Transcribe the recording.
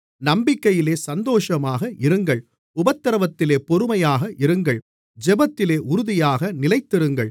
நம்பிக்கையிலே சந்தோஷமாக இருங்கள் உபத்திரவத்திலே பொறுமையாக இருங்கள் ஜெபத்திலே உறுதியாக நிலைத்திருங்கள்